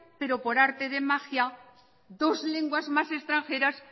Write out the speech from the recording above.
pero por arte de magia dos lenguas más extranjeras